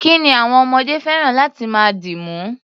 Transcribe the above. Kí ni àwọm ọmọdé fẹ́ràn láti máa dìmú?